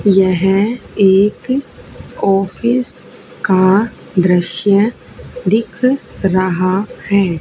यह एक ऑफिस का दृश्य दिख रहा है।